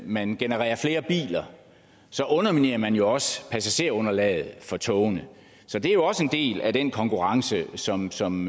man genererer flere biler underminerer man jo også passagerunderlaget for togene så det er jo også en del af den konkurrence som som